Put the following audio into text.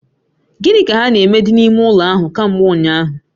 Gini ka ha na-eme di n'ime ulo ahu kambe unyahu?